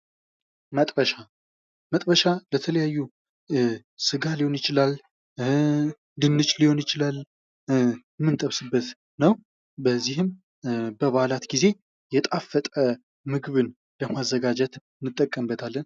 መጥበሻ ለተለያዩ ስጋ ሊሆን ይችላል ድንች ሊሆን ይችላል የምንጠብስበት ነው በዚህም በበዓላት ጊዜ የጣፈጠ ምግብን ለማዘጋጀት እንጠቀምበታለን።